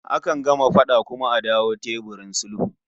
Akan gama fada kuma a dawo teburin sulhu